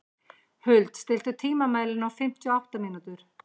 Huld, stilltu tímamælinn á fimmtíu og átta mínútur.